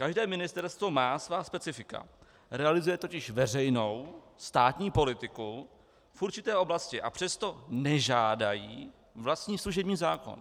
Každé ministerstvo má svá specifika, realizuje totiž veřejnou státní politiku v určité oblasti, a přesto nežádají vlastní služební zákon.